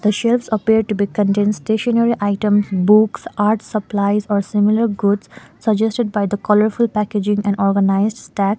shelves appear to be contain stationery items books art supplies or similar goods suggested by the colourful packaging and organised stacks.